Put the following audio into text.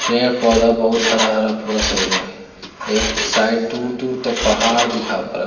पेड़-पौधा बहुत हरा-हरा पूरा साइड में एक साइड दूर-दूर तक पहाड़ दिखा --